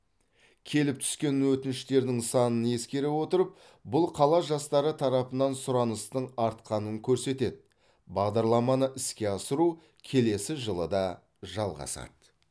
келіп түскен өтініштердің санын ескере отырып бұл қала жастары тарапынан сұраныстың артқанын көрсетеді бағдарламаны іске асыру келесі жылы да жалғасады